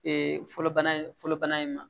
Ee fɔlɔ bana in fɔlɔbana in ma